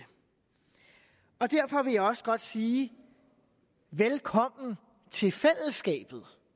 og derfor vil jeg også godt sige velkommen til fællesskabet